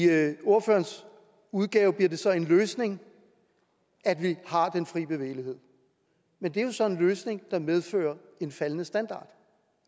ordførernes udgave bliver det så en løsning at vi har den fri bevægelighed men det er så en løsning der medfører en faldende standard